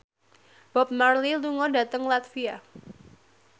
Bob Marley lunga dhateng latvia